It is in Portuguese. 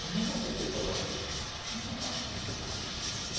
Eu nem gostei porque ele falou aquilo.